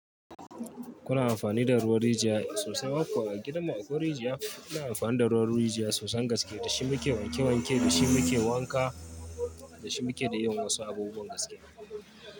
Kuna amfani da ruwan rijiya sosai. A gidanmu akwai rijiya, ina amfani da ruwan rijiya sosan gaske, da shi muke wanke wanke, da shi muke wanka, da shi muke da yin wasu abubuwan gaskiya.